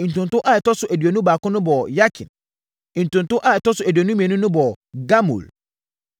Ntonto a ɛtɔ so aduonu baako no bɔɔ Yakin. Ntonto a ɛtɔ so aduonu mmienu no bɔɔ Gamul.